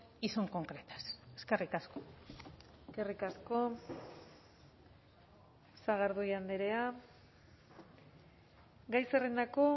y son concretas eskerrik asko eskerrik asko sagardui andrea gai zerrendako